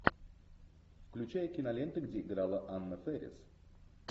включай киноленты где играла анна фэрис